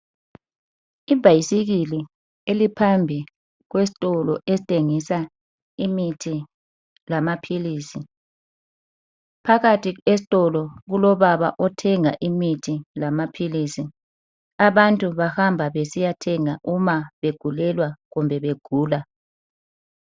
Ibhayisikili eliphambili kwesitolo esitshengisa imithi lamaphilizi. Phakathi esitolo kulobaba othenga imithi lamaphilizi abantu bahamba besiyathenga uma begulelwa kumbe begula.